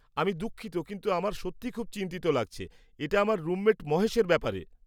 আমি দুঃখিত কিন্তু আমার সত্যিই খুব চিন্তিত লাগছে। এটা আমার রুমমেট মহেশের ব্যাপারে।